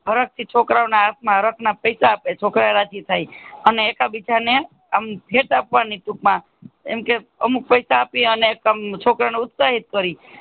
હરક થી છોકરા હાથ માં રત્ના પૈસા છોકરા રાજી થાય અને એકા બીજા એમ ભેટ આપવાની ટૂંકમાં એમ કે અમુક પૈસા આપી છોકરા ઓને ઉત્સાહીત કરે